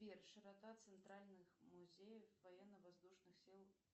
сбер широта центральных музеев военно воздушных сил